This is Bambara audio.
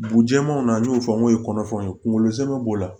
Bugujɛmanaw n'u y'o fɔ n'o ye kɔnɔfɛnw kungolo zɛmɛ b'o la